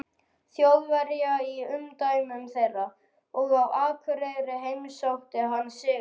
Þjóðverja í umdæmum þeirra, og á Akureyri heimsótti hann Sigurð